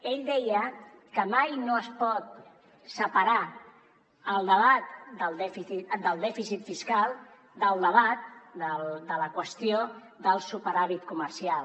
ell deia que mai no es pot separar el debat del dèficit fiscal de la qüestió del superàvit comercial